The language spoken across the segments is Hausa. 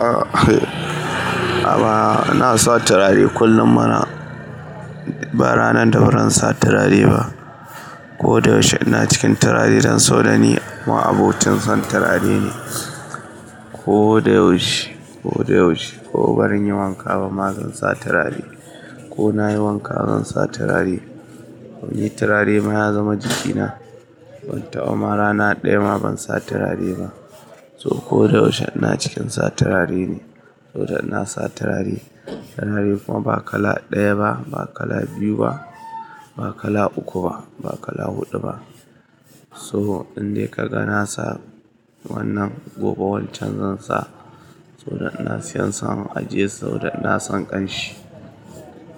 A'a. Amma na sa turare kullum mana. Ba rana da bazan sa turare ba. Ko da yaushe ina cikin turare don so da ni ma abocin son turare ne. Ko da yaushe, ko da yaushe. Ko bazan yi wanka ba ma zan sa turare. Ko na yi wanka zan sa turare. Wani turare ma ya zama jikina. Ban taɓa ma rana ɗaya ma ban sa turare ba. So ko da yaushe ina cikin sa turare ne. Saboda ina sa turare. Turare kuma ba kala ɗaya ba, ba kala biyu ba, ba kala uku ba, ba kala huɗu ba. So in dai ka ga na sa wannan gobe wancan zan sa. So da ina siyan sa a ajiye. So da ina son ƙanshi.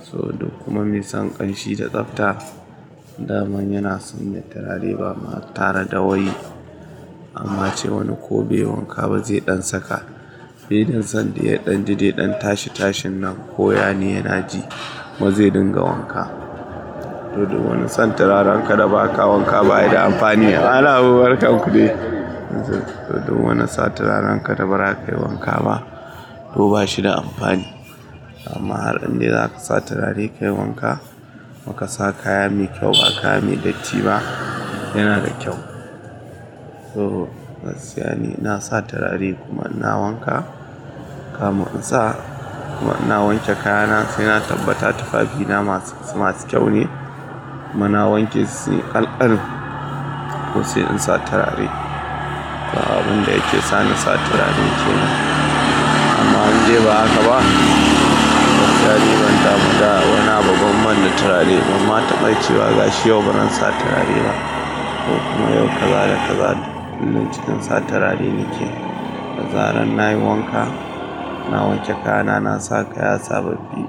So duk kuma me son ƙanshi da tsafta. Da man yana son me turare ba ma tare da wai. Amma ce wani ko baiyi wanka ba zai ɗan saka. Filin son da ya ɗan jude ɗan tashi tashin nan koya ne yana ji. Kuma zai dinga wanka? To duk wani son turaren ka da ba ka wanka baya da amfani. Malam Habu barkanu dai. To duk wani sa turaren ka da ba ka yi wanka ba to ba shi da amfani. Amma har in dai za ka sa turare ka yi wanka, kuma ka sa kaya me kyau ba kaya me datti ba, yana da kyau. To, gaskiya ne. Ina sa turare kuma ina wanka. Kamun in sa kuma ina wanke kayana sai na tabbata tufafina masu, masu kyau ne. Kuma na wanke su yi ƙalƙal to sai in sa turare. Ga abun da yake sa ni sa turaren ke nan. Amma in dai ba haka ba, turare ban taɓa ma da wana bagon manne turare ba. Man taɓa cewa gashi yau ban sa turare ba. To kuma yau kaza da kazatu kullum cikin sa turare nake. Da zaran na yi wanka, na wanke kayana, na sa kaya sababbi,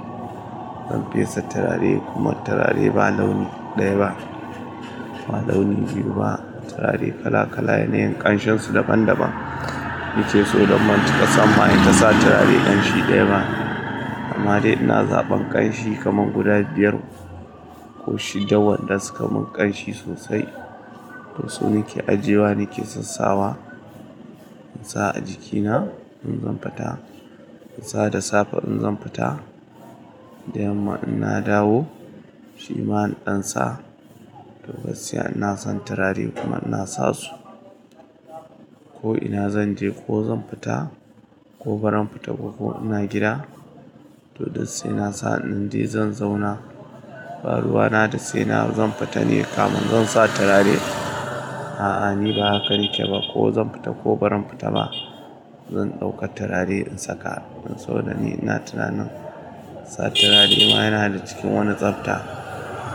zan fesa turare kuma turare ba launi ɗaya ba, ba launi biyu ba. Turare kala kala ne, ƙanshinsu daban daban. Nake so don bancika sa in ta sa turare ƙanshi ɗaya ba. Amma dai ina zaɓan ƙanshi kaman guda biyar ko shidda waɗanda suka mun ƙanshi sosai. To su nake ajiyewa nake sassawa in sa a jikina in zan fita. In sa da safe in zan fita. Da yamma ina dawo, shi ma in ɗan sa. To gaskiya ina son turare kuma ina sa su. Ko ina zan je ko zan fita ko bazan fita ko ko ina gida. To duk sai ina sa. In dai zan zauna, baruwa na da sai na zan fita ne kamin zan sa turare. A'a, ni ba haka nake ba. Ko zan fita ko barin fita ba, zan ɗauka turare in saka. In so da ni ina tunanin sa turare ma yana da cikin wani tsafta.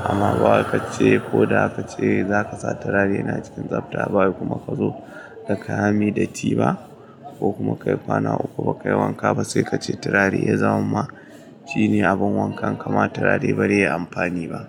Amma ba wa ka ce ko da ka ce za ka sa turare yana cikin tsafta ba kuma ka zo da kaya me datti ba ko kuma ka yi kwana uku ba ka yi wanka ba sai ka ce turare ya zama ma ci ne abin wankan kama turare bazaiyi amfani ba.